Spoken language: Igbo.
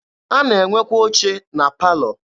A na-enwekwa oche na palọ.